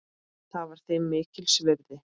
Það var þeim mikils virði.